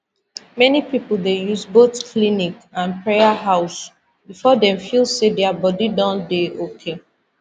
many people dey use both clinic and prayer house before dem feel say their body don dey okay